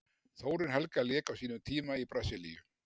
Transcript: Þórunn Helga lék á sínum tíma í Brasilíu.